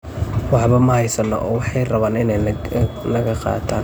Waxba ma haysano, oo waxay rabaan inay naga qaataan.